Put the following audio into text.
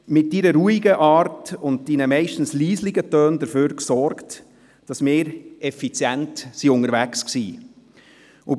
Mit Ihrer ruhigen Art und Ihren meist leisen Tönen sorgten Sie dafür, dass wir effizient unterwegs waren.